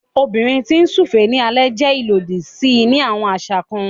Obìnrin ti n súfèé ní alẹ jẹ ilodi sí ni awọn aṣa kàn